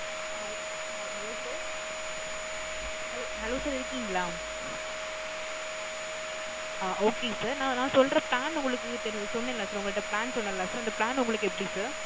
Hai hai, Hello sir, Hello hello sir இருக்கீங்களா? ஆ Okay sir. நான் நான் சொல்ற plan உங்களுக்கு ~ சொன்னேன் இல்ல sir உங்கள்ட plan சொன்னேன் இல்ல sir அந்த, plan உங்களுக்கு எப்பிடி sir?